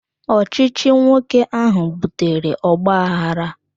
Ọchịchị nwoke ahụ butere ogbaaghara